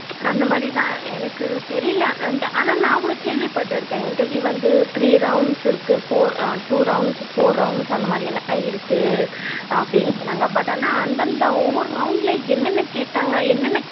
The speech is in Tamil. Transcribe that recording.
அந்த மாதிரி தான் எனக்கு தெரியல ஆனா நா கூட கேள்வி பட்டுருக்கேன் interview வந்து three rounds இருக்கு four two rounds four rounds அந்த மாதிரிலாம் இருக்கு அப்படிலாம் சொன்னாங்க but ஆனா அந்த அந்த ஒவ்வொரு round என்ன என்ன கேட்டாங்க என்ன என்ன